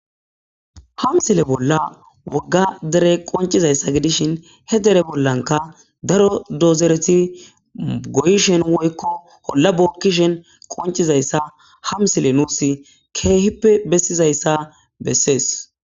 hamsile bolla wogga dere qoncizayssa gidishin he dere bollanka daro dozereti goyishen woykko holla bookkishen qoncizayssa hamsile nuus keehippe bessizayssa bessees